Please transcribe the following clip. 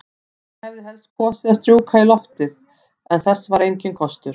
Hann hefði helst kosið að strjúka í loftið, en þess var enginn kostur.